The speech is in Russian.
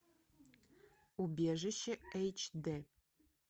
убежище эйч дэ